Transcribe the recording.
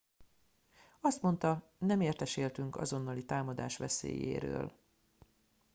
azt mondta nem értesültünk azonnali támadás veszélyéről